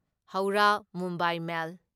ꯍꯧꯔꯥ Mumbai ꯃꯦꯜ